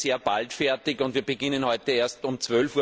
Heute sind wir sehr bald fertig, und wir beginnen heute erst um